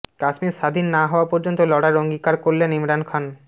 কাশ্মীর স্বাধীন না হওয়া পর্যন্ত লড়ার অঙ্গীকার করলেন ইমরান খান